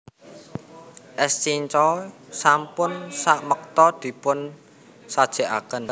Es cincau sampun samekta dipun sajekaken